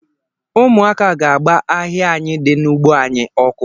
Ụmụaka ga-agba ahịa anyị di n’ugbo anyị ọkụ